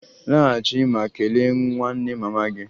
Laghachi ma kelee nwanne mama gị!